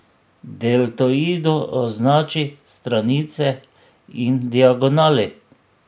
Deltoidu označi stranice in diagonali.